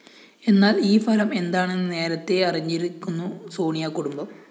എന്നാല്‍ ഈ ഫലം എന്താണെന്ന് നേരത്തെ അറിഞ്ഞിരിക്കുന്നു സോണിയാ കുടുംബം